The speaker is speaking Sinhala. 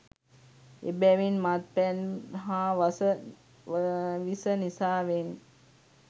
එබැවින් මත් පැන් හා වස විස නිසාවෙන්